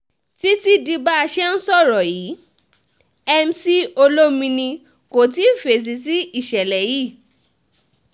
títí di bá a ṣe ń sọ yìí mc olomini kò tíì fèsì sí ìṣẹ̀lẹ̀ yìí